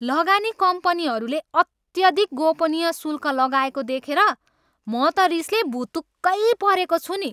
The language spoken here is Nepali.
लगानी कम्पनीहरूले अत्यधिक गोपनीय शुल्क लगाएको देखेर म त रिसले भुतुक्कै परेको छु नि।